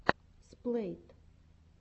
сплэйт